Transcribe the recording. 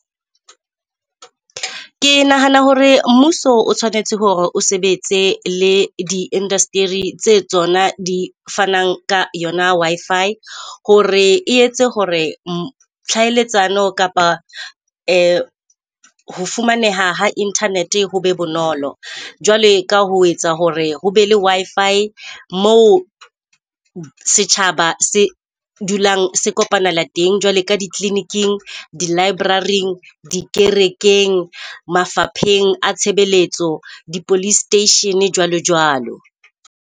Ke nahana hore mmuso o tshwanetse hore o sebetse le di-industry tse tsona di fanang ka yona Wi-Fi. Hore e etse hore kapa ho fumaneha ha internet ho be bonolo. Jwale ka ho etsa hore ho be le Wi-Fi moo setjhaba se dulang se kopanela teng. Jwale ka ditleliniking, di-library-eng, dikerekeng, mafapheng a tshebeletso, di-police station jwalo jwalo.